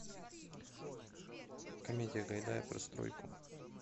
комедия гайдая про стройку